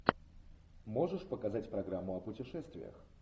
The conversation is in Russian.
можешь показать программу о путешествиях